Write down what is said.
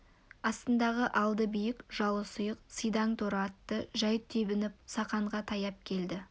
астындағы алды биік жалы сұйық сидаң торы атты жай тебініп сақанға таяп келді